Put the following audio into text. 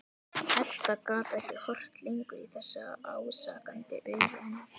Edda gat ekki horft lengur í þessi ásakandi augu hennar.